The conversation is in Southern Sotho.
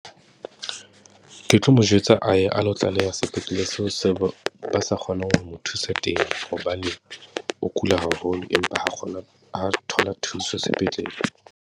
Ke tlo mo jwetsa a ye a lo tlaleha sepetlele seo seo ba sa kgoneng ho mo thusa teng, hobane o kula haholo. Empa ha kgona, ha a thola thuso sepetlele.